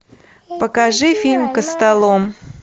покажи фильм костолом